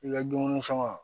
I ka dumuni fɛn ma